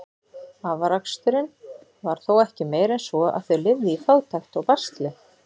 Afraksturinn var þó ekki meiri en svo, að þau lifðu í fátækt og basli.